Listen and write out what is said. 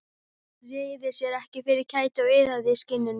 Hann réði sér ekki fyrir kæti og iðaði í skinninu.